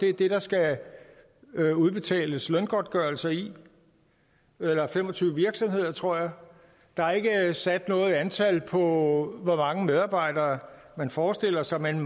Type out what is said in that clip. er det der skal udbetales løngodtgørelse i eller fem og tyve virksomheder tror jeg der er ikke sat noget antal på hvor mange medarbejdere man forestiller sig men